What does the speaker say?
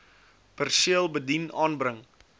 perseel bedien aanbring